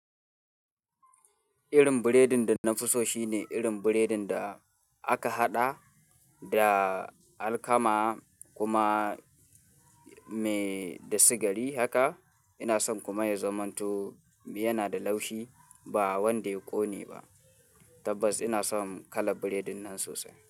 Irin burodin da na fi so shine irin burodin da aka haɗa da alkama kuma me da sigari haka. Ina son kuma ya zamanto yana da laushi ba wanda ya ƙone ba. Tabbas ina son kalar burodin nan sosai.